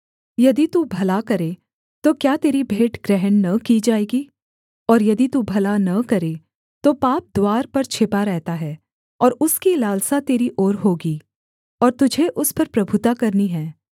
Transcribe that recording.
यदि तू भला करे तो क्या तेरी भेंट ग्रहण न की जाएगी और यदि तू भला न करे तो पाप द्वार पर छिपा रहता है और उसकी लालसा तेरी ओर होगी और तुझे उस पर प्रभुता करनी है